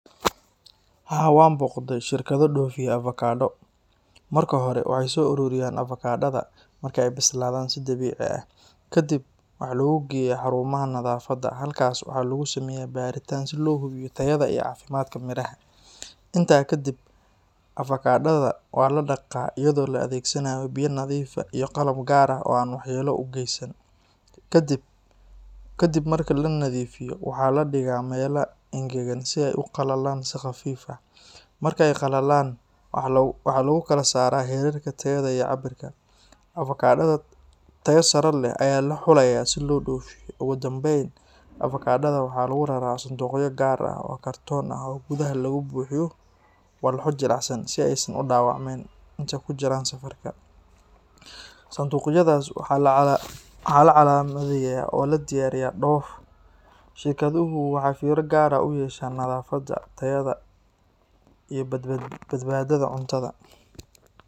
Haa, waxaan booqday shirkado dhoofiya avokado. Marka hore, waxay soo ururiyaan avokadada marka ay bislaadaan si dabiici ah. Kadibna waxaa lagu geeyaa xarumaha nadaafadda. Halkaas waxaa lagu sameeyaa baaritaan si loo hubiyo tayada iyo caafimaadka miraha. Intaa ka dib, avokadada waa la dhaqaa iyadoo la adeegsanayo biyo nadiif ah iyo qalab gaar ah oo aan waxyeelo u geysan. Ka dib marka la nadiifiyo, waxaa la dhigaa meelaha engegan si ay u qalalaan si khafiif ah. Marka ay qalalaan, waxaa lagu kala saaraa heerarka tayada iyo cabbirka. Avokadada tayada sare leh ayaa la xulayaa si loo dhoofiyo. Ugu dambeyn, avokadada waxaa lagu raraa sanduuqyo gaar ah oo kartoon ah oo gudaha looga buuxiyo walxo jilicsan si aysan u dhaawacmin intay ku jiraan safarka. Sanduuqyadaas waxaa la calaamadeeyaa oo loo diyaariyaa dhoof. Shirkaduhu waxay fiiro gaar ah u yeeshaan nadaafadda, tayada, iyo badbaadada cuntada.